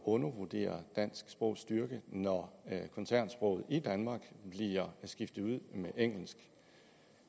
undervurdere dansk sprogs styrke når koncernsproget i danmark bliver skiftet ud med engelsk